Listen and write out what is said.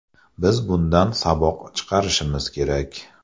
Biz bundan saboq chiqarishimiz kerak.